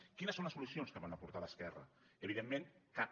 quines són les solucions que va aportar l’esquerra evidentment cap